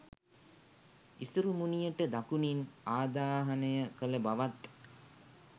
ඉසුරුමුණියට දකුණින් ආදාහනය කළ බවත්